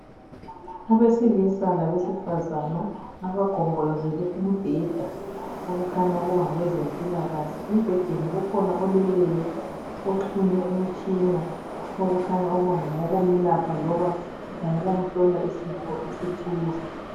Abesilisa labesifazana abagombolozele umbheda ,okukhanya ukuba ngabezempilakahle. Embhedeni kukhona oleleyo ,oxhunywe imitshina okukhanya ukuba ngowokumelapha loba ngowokumhlola isifo esithize .